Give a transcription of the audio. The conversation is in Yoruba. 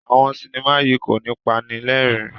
Awọn sinima yí ko ní panilerin